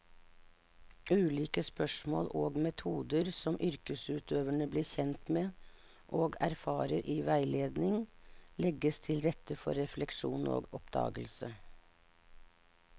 Ulike spørsmål og metoder som yrkesutøverne blir kjent med og erfarer i veiledning, legger til rette for refleksjon og oppdagelse.